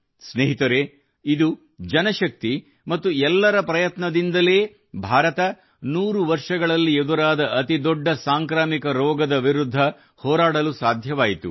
ಸ್ನೇಹಿತರೇ ಇದು ಜನಶಕ್ತಿ ಮತ್ತು ಎಲ್ಲರ ಪ್ರಯತ್ನದಿಂದಲೇ ಭಾರತವು 100 ವರ್ಷಗಳಲ್ಲಿ ಎದುರಾದ ಅತಿದೊಡ್ಡ ಸಾಂಕ್ರಾಮಿಕ ರೋಗದ ವಿರುದ್ಧ ಹೋರಾಡಲು ಸಾಧ್ಯವಾಯಿತು